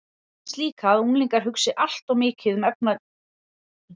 Mér finnst líka að unglingar hugsi allt of mikið um efnaleg gæði.